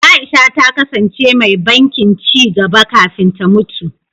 Aisha ta kasance mai bankin ci gaba kafin ta mutu.